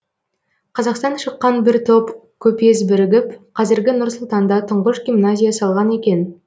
қазақтан шыққан бір топ көпес бірігіп қазіргі нұр сұлтанда тұңғыш гимназия салған екен